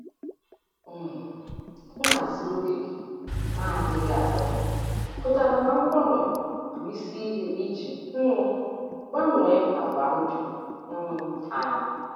um Nhazi oge gị na-adịghị agafe pụtara na mgbanwe bụ isi ihe iji um gbanwee àgwà ndụ um anyị.